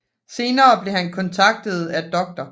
Senere blev han kontaktet af dr